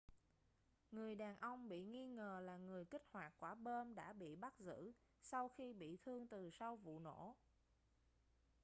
người đàn ông bị nghi ngờ là người kích hoạt quả bom đã bị bắt giữ sau khi bị thương từ sau vụ nổ